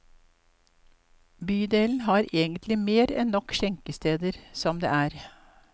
Bydelen har egentlig mer enn nok skjenkesteder som det er.